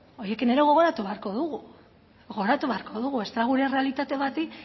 horiekin ere gogoratu beharko dugu gogoratu beharko dugu bestela gure errealitate bati